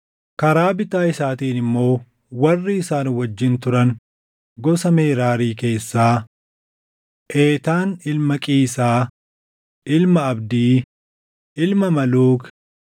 karaa bitaa isaatiin immoo warri isaan wajjin turan gosa Meraarii keessaa: Eetaan ilma Qiisaa, ilma Abdii, ilma Maluuk,